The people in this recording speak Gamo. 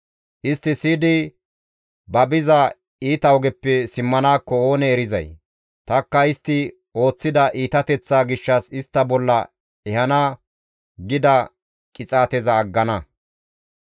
Istti siyidi ba biza iita ogeppe simmanaakko oonee erizay? Tanikka istti ooththida iitateththaa gishshas istta bolla ehana gida qixaateza aggana.